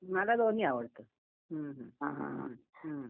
मला दोन्ही आवडतं हुं हुं हां हां हां. हं